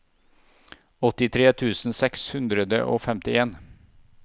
åttitre tusen seks hundre og femtien